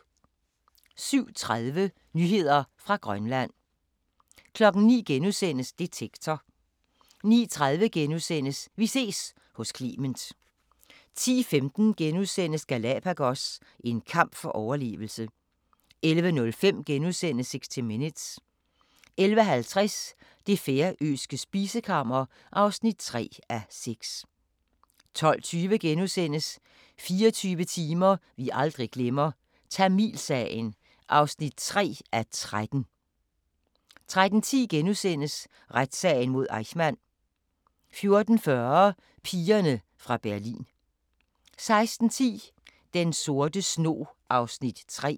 07:30: Nyheder fra Grønland 09:00: Detektor * 09:30: Vi ses hos Clement * 10:15: Galapagos – en kamp for overlevelse * 11:05: 60 Minutes * 11:50: Det færøske spisekammer (3:6) 12:20: 24 timer vi aldrig glemmer - Tamilsagen (3:13)* 13:10: Retssagen mod Eichmann * 14:40: Pigerne fra Berlin 16:10: Den sorte snog (3:6)